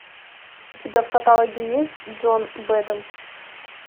у тебя в каталоге есть джон бэдэм